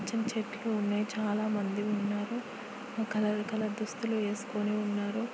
చెట్లు ఉన్నాయి చాలామంది ఉన్నారు కలర్ కలర్ దుస్తులు వేసుకొని ఉన్నారు.